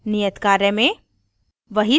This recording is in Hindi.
नियत कार्य में